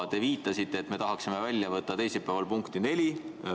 Te viitasite, et me tahaksime välja võtta teisipäevase punkti nr 4.